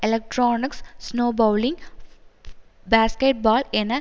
electronic snow bowling basketball என